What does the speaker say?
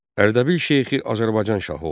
Ərdəbil şeyxi Azərbaycan şahı oldu.